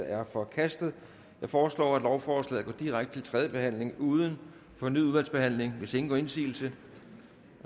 er forkastet jeg foreslår at lovforslaget går direkte til tredje behandling uden fornyet udvalgsbehandling hvis ingen gør indsigelse